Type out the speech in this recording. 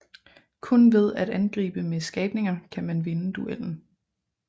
Kun ved at angribe med skabninger kan man vinde duellen